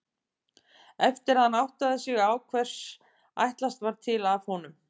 Eftir að hann áttaði sig á hvers ætlast var til af honum.